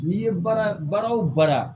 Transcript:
N'i ye baara o baara